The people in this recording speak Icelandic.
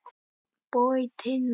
Bogey Tinna.